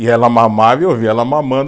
E ela mamava e eu via ela mamando.